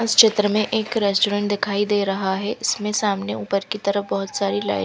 इस चित्र में एक रेस्टोरेंट दिखाई दे रहा है इसमें सामने ऊपर की तरफ बोहोत सारी लाइट --